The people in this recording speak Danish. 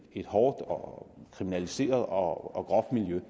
et hårdt og kriminaliseret og groft miljø